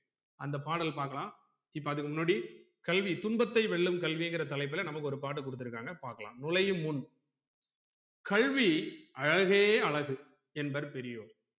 அந்த பாடல் பாக்கலாம் இப்ப அதுக்கு முன்னாடி கல்வி துன்பத்தை வெல்லும் கல்விங்குற தலைப்புல நமக்கு ஒரு பாட்டு குடுத்துருக்காங்க பாக்கலாம் நுழையும் முன் கல்வி அழகே அழகு என்பர் பெரியோர்